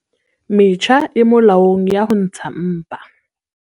Metjha e molaong ya ho ntsha mpa